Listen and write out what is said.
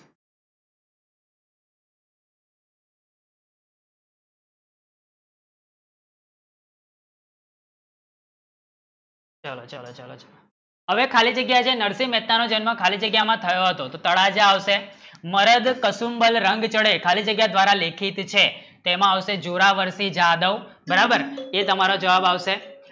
ચલો ચલો ચલો આવે ખાલી જગ્ય ને નરસિંહ મહેતા નો જન્મ ખાલી જગ્યા મેં થયો હતો તો તાડા જે આવશે મરે જો કસુંબી રંગ બિછડે ખાલી જગ્યા દ્વારે લેખિત છે તેમાં આવશે જોડા વર્તી જાદવ બરાબર એ તમારો જવાન આવશે